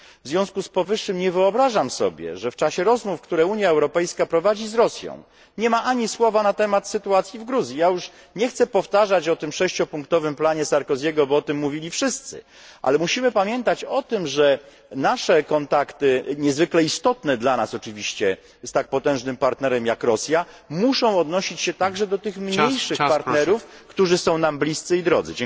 W związku z powyższym nie wyobrażam sobie, że w czasie rozmów, które Unia Europejska prowadzi z Rosją, nie ma ani słowa na temat sytuacji w Gruzji. Ja już nie chcę powtarzać o tym sześciopunktowym planie Sarkozy'ego, bo o tym mówili wszyscy, ale musimy pamiętać o tym, że nasze kontakty, niezwykle istotne dla nas oczywiście, z tak potężnym partnerem jak Rosja muszą odnosić się także do tych mniejszych partnerów, którzy są nam bliscy i drodzy.